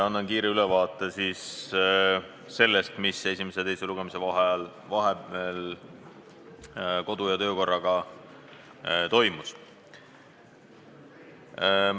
Annan kiire ülevaate sellest, mis toimus kodu- ja töökorraga esimese ja teise lugemise vahel.